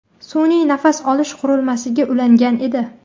Sun’iy nafas olish qurilmasiga ulangan edi.